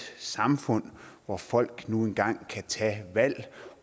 samfund hvor folk nu engang kan tage valg